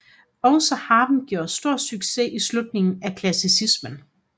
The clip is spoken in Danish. Også harpen gjorde stor succes i slutningen af klassicismen